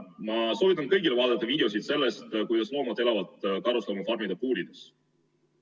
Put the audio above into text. Ma soovitan kõigil vaadata videoid sellest, kuidas loomad elavad karusloomafarmide puurides.